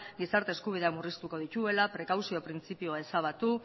gizarte eskubideak murriztuko dituela prekauzio printzipioa ezabatu